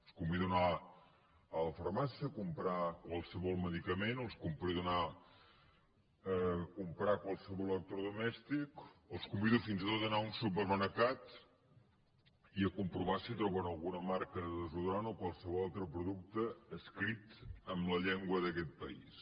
els convido a anar a la farmàcia a comprar qualsevol medicament els convido a anar a comprar qualsevol electrodomèstic o els convido fins i tot a anar a un supermercat i a comprovar si troben alguna marca de desodorant o qualsevol altre producte escrit en la llengua d’aquest país